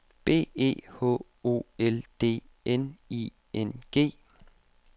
B E H O L D N I N G